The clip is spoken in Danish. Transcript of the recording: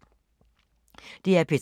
DR P3